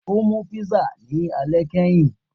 O mu písà ni alẹ kẹhin